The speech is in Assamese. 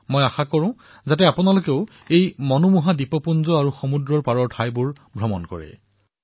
মই আশা কৰিছো যে আপোনালোকেও এই সুন্দৰ দ্বীপমালা আৰু সমুদ্ৰ তটলৈ ভ্ৰমণ কৰিবলৈ আহিব